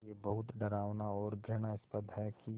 ये बहुत डरावना और घृणास्पद है कि